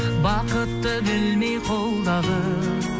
бақытты білмей қолдағы